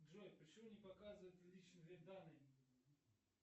джой почему не показывает личные данные